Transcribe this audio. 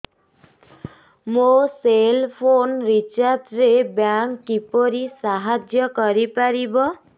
ମୋ cell phone recharge ରେ bank କିପରି ସାହାଯ୍ୟ କରିପାରିବ